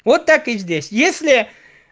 вот так и здесь если